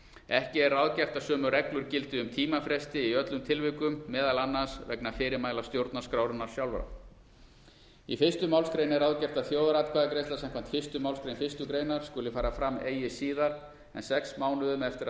ekki er ráðgert að sömu reglur gildi um tímafresti í öllum tilvikum meðal annars vegna fyrirmæla stjórnarskrárinnar sjálfrar í fyrstu málsgrein er ráðgert að þjóðaratkvæðagreiðsla samkvæmt fyrstu málsgrein fyrstu grein skuli fara fram eigi síðar en sex mánuðum eftir